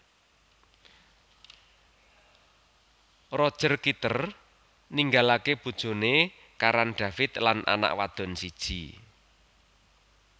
Roger Kitter ninggalaké bojoné Karan David lan anak wadon siji